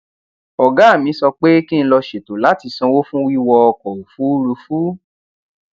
ògá mi sọ pé kí n lọ ṣètò láti sanwó fún wíwọ ọkò òfuurufú